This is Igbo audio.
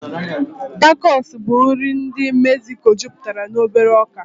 Tacosu bụ nri ndị Mexico juputere na obere ọkà.